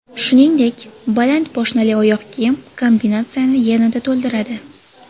Shuningdek, baland poshnali oyoq kiyim kombinatsiyani yanada to‘ldiradi.